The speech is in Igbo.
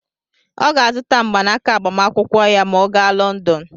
Ọ ga-azụta mgbanaka agbamakwụkwọ ya ma ọ gaa Lọndọn.